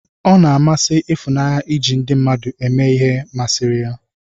O na-amasị Ifunanye iji ndị mmadụ eme ihe ma siri ya.